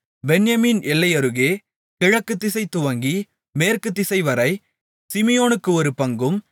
பென்யமீன் எல்லையருகே கிழக்குதிசை துவங்கி மேற்குத்திசைவரை சிமியோனுக்கு ஒரு பங்கும்